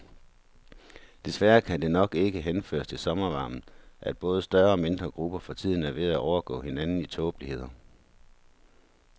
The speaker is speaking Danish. Desværre kan det nok ikke henføres til sommervarmen, at både større og mindre grupper for tiden er ved at overgå hinanden i tåbeligheder.